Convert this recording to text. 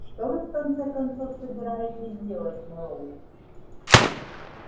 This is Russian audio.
что вы в конце концов собираетесь делать мэллоу